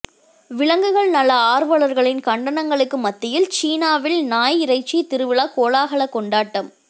விலங்குகள் நல ஆர்வலர்களின் கண்டனங்களுக்கு மத்தியில் சீனாவில் நாய் இறைச்சி திருவிழா கோலாகல கொண்டாட்டம்